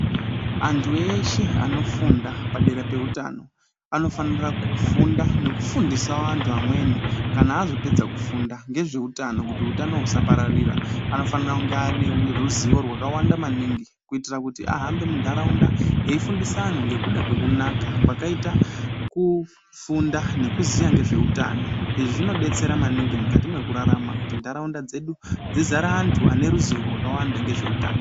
Antu eshe anofunda padera peutano anofanira kufunda nekufundisa vantu amweni kana azopedza kufunda ngezveutano kuti utano husapararira. Anofanira kunge ane ruzivo rwakawanda maningi kuitira kuti ahambe muntaraunda eifundisa anhu ngekuda kwekunaka kwakaita kufunda nekuziya ngezveutano. Izvi zvinodetsera maningi mwukati mwekurarama kuti ntaraunda dzizare antu ane ruzivo rwakawanda ngezveutano.